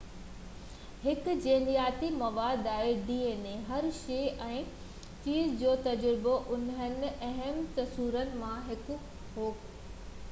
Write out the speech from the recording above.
Hershey ۽ چيز جو تجربو انهن اهم تصورن مان هڪ هو تہ dna هڪ جينياتي مواد آهي